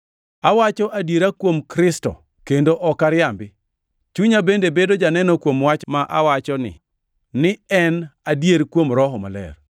Awacho adiera kuom Kristo kendo ok ariambi; chunya bende bedo janeno kuom wach ma awachoni ni en adier kuom Roho Maler.